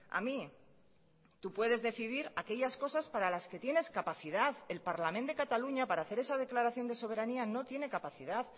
a mí tú puedes decidir aquellas cosas para las que tienes capacidad el parlament de cataluña para hacer esa declaración de soberanía no tiene capacidad